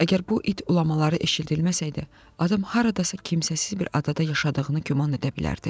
Əgər bu it ulamaları eşidilməsəydi, adam haradasa kimsəsiz bir adada yaşadığını güman edə bilərdi.